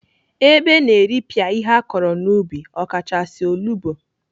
Ebe na-eripịa ihe akọrọ n'ubi ọkachasị, olugbo.